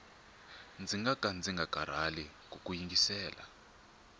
ndzi ngaka ndzi nga karhali kuku yingisela